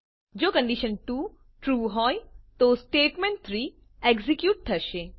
જો condition true હોય તો સ્ટેટમેન્ટ3 એક્ઝેક્યુટ થશે